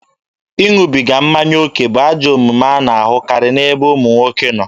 Ịṅụbiga mmanya oke bụ ajọ omume a na-ahụkarị n'ebe ụmụ nwoke nọ.